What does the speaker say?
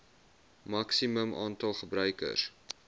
maksimum aantal gebruikers